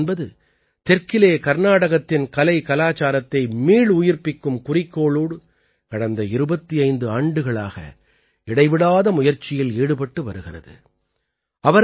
க்வேம்ஸ்ரீ என்பது தெற்கிலே கர்நாடகத்தின் கலைகலாச்சாரத்தை மீளுயிர்ப்பிக்கும் குறிக்கோளோடு கடந்த 25 ஆண்டுகளாக இடைவிடாத முயற்சியில் ஈடுபட்டு வருகிறது